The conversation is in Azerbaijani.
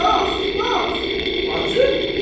Yox, yox, bacı.